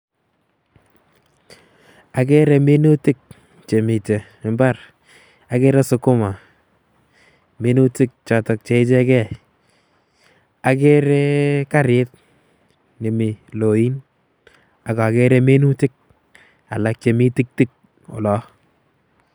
Okere minutik chemite imbar, akere skuma. Minutik choton cheichegei okere, okere karit nemi loin. Ak okere minutik alak chemi tiktik olon.